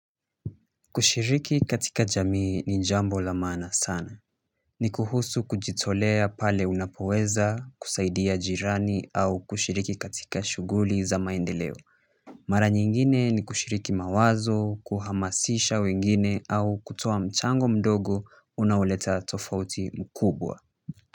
Kushiriki katika jamii ni jambo la maana sana. Ni kuhusu kujitolea pale unapoweza, kusaidia jirani au kushiriki katika shuguli za maendeleo. Mara nyingine ni kushiriki mawazo, kuhamasisha wengine au kutoa mchango mdogo unaoleta tofauti mkubwa.